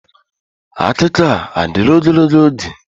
Akụkọ a adịla ogologo oge?